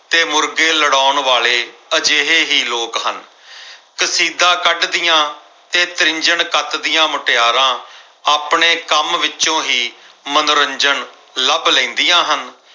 ਤੇ ਮੁਰਗੇ ਲੜਾਉਣ ਵਾਲੇ ਇਹ ਕਰਤਾ ਅਜਿਹੇ ਹੀ ਲੋਕ ਹਨ। ਕਸੀਦਾ ਕੱਢਦੀਆਂ ਤੇ ਤ੍ਰਿੰਝਣ ਕੱਤਦੀਆਂ ਮੁਟਿਆਰਾਂ ਆਪਣੇ ਕੰਮ ਵਿੱਚੋਂ ਹੀ ਮਨੋਰੰਜਨ ਲੱਭ ਲੈਦੀਆਂ ਹਨ।